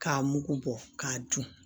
K'a mugu bɔ k'a dun